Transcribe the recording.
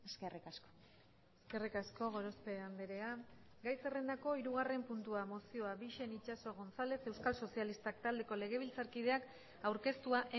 eskerrik asko eskerrik asko gorospe andrea gai zerrendako hirugarren puntua mozioa bixen itxaso gonzález euskal sozialistak taldeko legebiltzarkideak aurkeztua